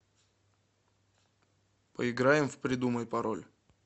поиграем в придумай пароль